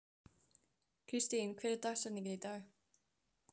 Það mýkir hana engu síður en strekktan vöðva.